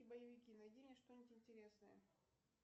боевики найди мне что нибудь интересное